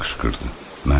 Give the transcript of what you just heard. Avropalı qışqırdı.